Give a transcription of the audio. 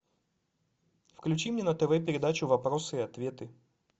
включи мне на тв передачу вопросы и ответы